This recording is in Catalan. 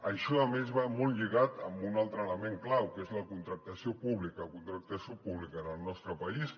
això a més va molt lligat amb un altre element clau que és la contractació pública la contractació pública en el nostre país